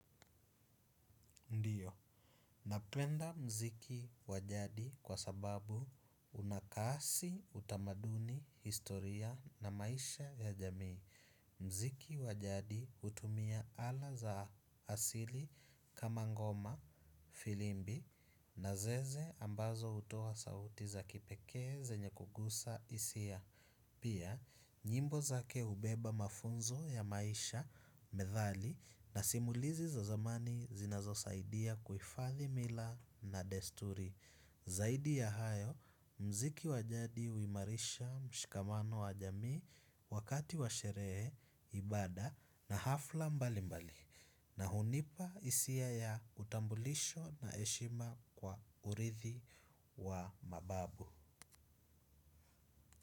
Ndio, napenda mziki wajadi kwasababu unakasi utamaduni historia na maisha ya jamii. Mziki wa jadi hutumia ala za asili kama ngoma filimbi na zeze ambazo hutoa sauti za kipekee zenye kuguza hisia. Pia, nyimbo zake hubeba mafunzo ya maisha, methali na simulizi za zamani zinazo saidia kuifadhi mila na desturi. Zaidi ya hayo, mziki wajadi huimarisha mshikamano wa jamii wakati wa sherehe, ibada na hafla mbali mbali. Na hunipa hisia ya utambulisho na heshima kwa urithi wa mababu.